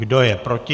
Kdo je proti?